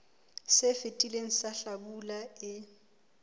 se fetileng sa hlabula e